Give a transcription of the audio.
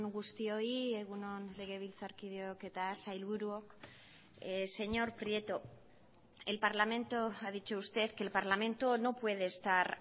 guztioi egun on legebiltzarkideok eta sailburuok señor prieto el parlamento ha dicho usted que el parlamento no puede estar